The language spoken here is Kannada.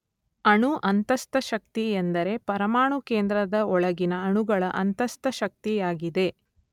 ಅಣು ಅಂತಸ್ಥಶಕ್ತಿ ಎಂದರೆ ಪರಮಾಣು ಕೇಂದ್ರದ ಒಳಗಿನ ಅಣುಗಳ ಅಂತಸ್ಥಶಕ್ತಿಯಾಗಿದೆ.